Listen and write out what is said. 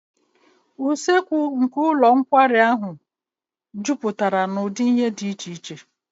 Usekwu nke ụlọ nkwari akụ ahụ juputara na ụdị nri dị iche iche